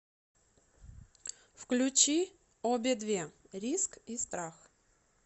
включи обе две риск и страх